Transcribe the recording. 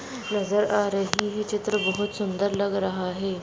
नजर आ रही है चित्र बहोत सुन्दर लग रहा है।